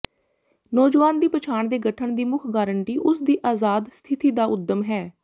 ਨੌਜਵਾਨ ਦੀ ਪਛਾਣ ਦੇ ਗਠਨ ਦੀ ਮੁੱਖ ਗਾਰੰਟੀ ਉਸ ਦੀ ਆਜ਼ਾਦ ਸਥਿਤੀ ਦਾ ਉੱਦਮ ਹੈ